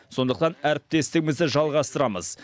сондықтан әріптестігімізді жалғастырамыз